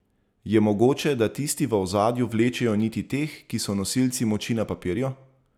Je mogoče, da tisti v ozadju vlečejo niti teh, ki so nosilci moči na papirju?